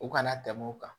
U kana tɛmɛ o kan